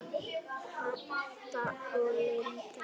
Heba og Linda.